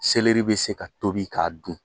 be se k'a tobi k'a dun.